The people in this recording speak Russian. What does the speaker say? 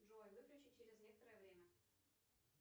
джой выключи через некоторое время